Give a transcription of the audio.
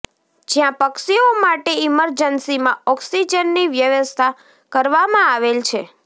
જયાં પક્ષીઓ માટે ઇમરજન્સીમાં ઓકિસજનની વ્યવસ્થા કરવામાં આવેલ છે